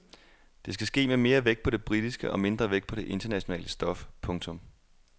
Det skal ske med mere vægt på det britiske og mindre vægt på det internationale stof. punktum